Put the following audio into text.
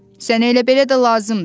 “Sənə elə belə də lazımdır!”